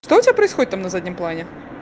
что у тебя происходит там на заднем плане